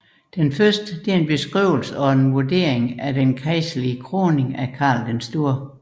Den første er en beskrivelse og vurdering af den kejserlige kroning af Karl den Store